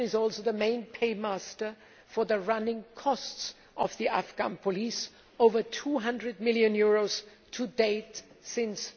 Commission is also the main paymaster for the running costs of the Afghan police over EUR 200 million to date since